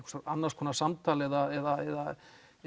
annars konar samtal eða